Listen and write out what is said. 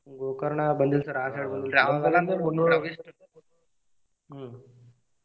Gokarna ಬಂದಿಲ್ಲ sir ಹ್ಮ್.